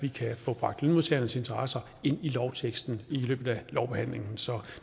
kan få bragt lønmodtagernes interesser ind i lovteksten i løbet af lovbehandlingen så